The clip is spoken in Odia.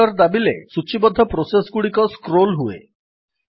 ଏଣ୍ଟର୍ ଦାବିଲେ ସୂଚୀବଦ୍ଧ ପ୍ରୋସେସ୍ ଗୁଡିକ ସ୍କ୍ରୋଲ୍ ହୁଏ